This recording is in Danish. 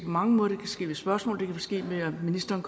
mange måder det kan ske ved spørgsmål og det kan ske ved at ministeren